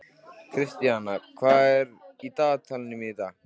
Kristian, hvað er í dagatalinu mínu í dag?